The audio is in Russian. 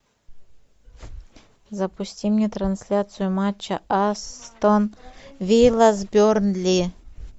запусти мне трансляцию матча астон вилла с бернли